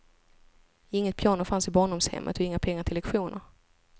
Inget piano fanns i barndomshemmet och inga pengar till lektioner.